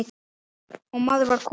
og maður var kominn.